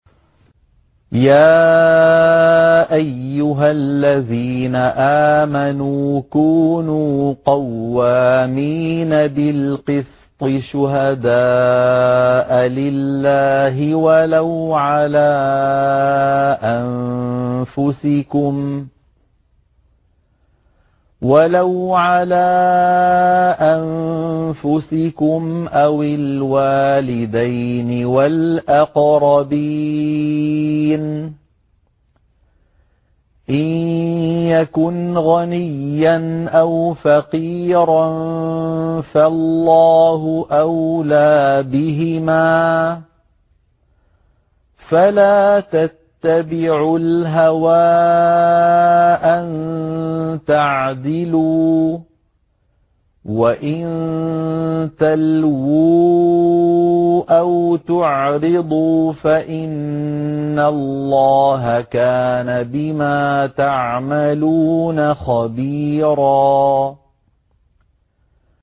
۞ يَا أَيُّهَا الَّذِينَ آمَنُوا كُونُوا قَوَّامِينَ بِالْقِسْطِ شُهَدَاءَ لِلَّهِ وَلَوْ عَلَىٰ أَنفُسِكُمْ أَوِ الْوَالِدَيْنِ وَالْأَقْرَبِينَ ۚ إِن يَكُنْ غَنِيًّا أَوْ فَقِيرًا فَاللَّهُ أَوْلَىٰ بِهِمَا ۖ فَلَا تَتَّبِعُوا الْهَوَىٰ أَن تَعْدِلُوا ۚ وَإِن تَلْوُوا أَوْ تُعْرِضُوا فَإِنَّ اللَّهَ كَانَ بِمَا تَعْمَلُونَ خَبِيرًا